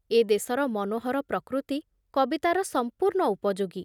ଏ ଦେଶର ମନୋହର ପ୍ରକୃତି କବିତାର ସମ୍ପୂର୍ଣ୍ଣ ଉପଯୋଗୀ।